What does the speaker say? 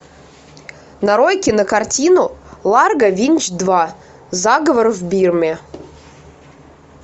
нарой кинокартину ларго винч два заговор в бирме